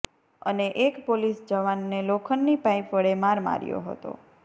અને એક પોલીસ જવાનને લોખંડની પાઈપ વડે માર માર્યો હતો